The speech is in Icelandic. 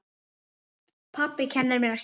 Pabbi kennir mér að hjóla.